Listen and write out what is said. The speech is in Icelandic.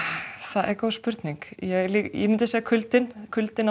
er góð spurning ég myndi segja kuldinn kuldinn